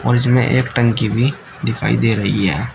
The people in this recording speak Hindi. इसमें एक टंकी भी दिखाई दे रही है।